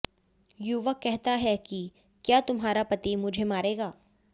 युवक कहता है कि क्या तुम्हारा पति मुझे मारेगा